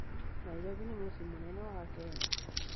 Nairobi nĩ mũciĩ mũnene wa Kenya